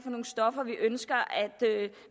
nogle stoffer vi ønsker